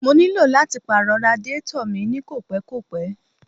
Mo ní lò láti pàrọ̀ radiátọ̀ mi ní kò pẹ́ kò pẹ́.